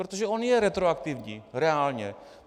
Protože on je retroaktivní reálně.